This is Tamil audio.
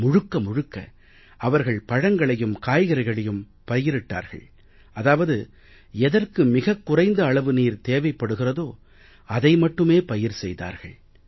முழுக்க முழுக்க அவர்கள் பழங்களையும் காய்கறிகளையும் பயிரிட்டார்கள் அதாவது எதற்கு மிகக் குறைந்த அளவு நீர் தேவைப்படுகிறதோ அதை மட்டுமே பயிர் செய்தார்கள்